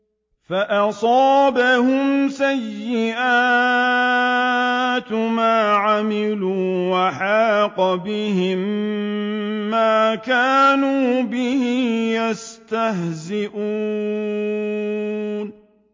فَأَصَابَهُمْ سَيِّئَاتُ مَا عَمِلُوا وَحَاقَ بِهِم مَّا كَانُوا بِهِ يَسْتَهْزِئُونَ